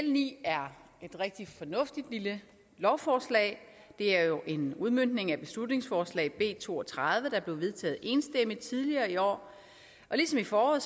ni er et rigtig fornuftigt lille lovforslag det er jo en udmøntning af beslutningsforslag nummer b to og tredive der blev vedtaget enstemmigt tidligere i år ligesom i foråret